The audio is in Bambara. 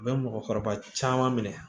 U bɛ mɔgɔkɔrɔba caman minɛ